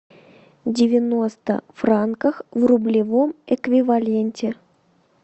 девяносто франков в рублевом эквиваленте